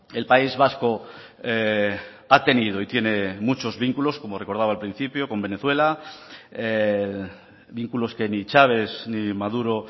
el país vasco ha tenido y tiene muchos vínculos como recordaba al principio con venezuela vínculos que ni chaves ni maduro